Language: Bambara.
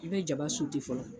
I bi jaba fɔlɔ.